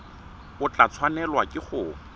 o tla tshwanelwa ke go